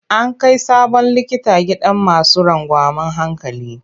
An kai sabon likita gidan masu rangwamen hankali.